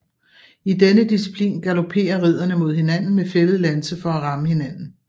I denne disciplin galopperer ridderne mod hinanden med fældet lanse for at ramme hinanden